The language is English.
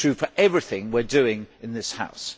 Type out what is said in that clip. it is true for everything we are doing in this House.